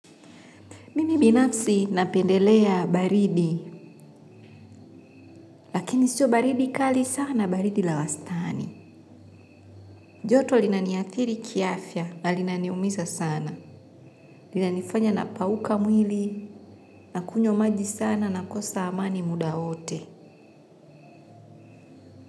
Mimi binapsi napendelea baridi, lakini sio baridi kali sana baridi la wastani. Joto linaniathiri kiafya, linaniumisa sana. Lina nifanya na pauka mwili, nakunyo maji sana nakosa amani muda wote.